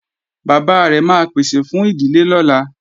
Bàbá rẹ̀ máa pèsè fún ìdílé lọ́la